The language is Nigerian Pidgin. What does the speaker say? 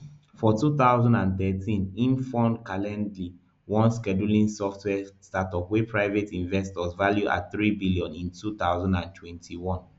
for two thousand and thirteen im forn calendly one scheduling software startup wey private investors value at three billion in two thousand and twenty-one